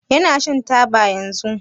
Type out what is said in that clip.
Yana shan taba yanzun?